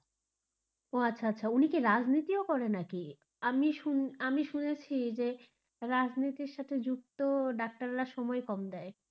ও আচ্ছা আচ্ছা, উনি কি রাজনীতিও করে নাকি? আমি শুন আমি শুনেছি যে রাজনীতির সাথে যুক্ত ডাক্তাররা সময় কম দেয়.